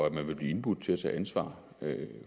at man vil blive indbudt til at tage ansvar